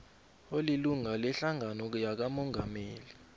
olilunga lehlangano yakamongameli